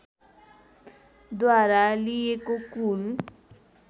द्वारा लिइएको कुल